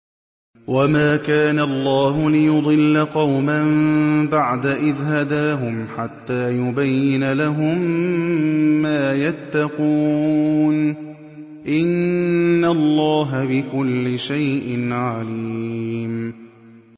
وَمَا كَانَ اللَّهُ لِيُضِلَّ قَوْمًا بَعْدَ إِذْ هَدَاهُمْ حَتَّىٰ يُبَيِّنَ لَهُم مَّا يَتَّقُونَ ۚ إِنَّ اللَّهَ بِكُلِّ شَيْءٍ عَلِيمٌ